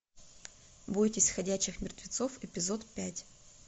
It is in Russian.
бойтесь ходячих мертвецов эпизод пять